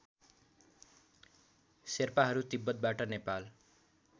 शेर्पाहरू तिब्बतबाट नेपाल